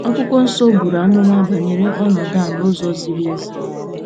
Akwụkwọ Nsọ buru amụma banyere ọnọdụ a n'ụzọ ziri ezi.